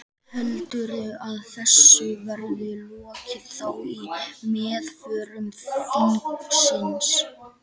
Heldurðu að þessu verði lokið þá í meðförum þingsins?